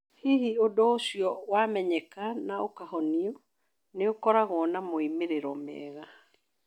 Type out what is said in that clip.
Rĩrĩa ũndũ ũcio wamenyeka na ũkahonio, nĩ ũkoragwo na moimĩrĩro mega.